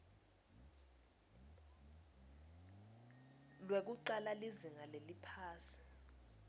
lwekucala lizinga leliphansi